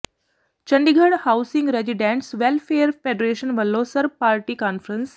Chandigarh housing residents welfare federation ਵਲੋਂ ਸਰਬ party conference